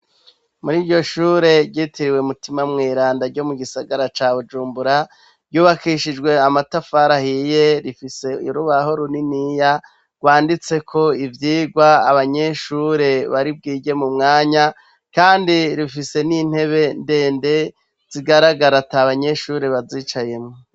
Muri iryo shure ryitiriwe mutima mwiranda ryo mu gisagara ca bujumbura yubakishijwe amatafarahiye rifise irubahoru niniya rwanditse ko ivyirwa abanyeshure baribwirye mu mwanya, kandi rifise n'intebe ndende zigaragara ata banyeshure baziwe icayemwwo.